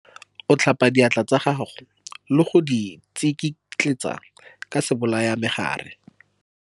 O tlhapa diatla tsa gago le go di tsikitletsa ka sebolayamegare.